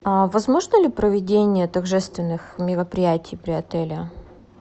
возможно ли проведение торжественных мероприятий при отеле